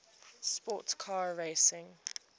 sports car racing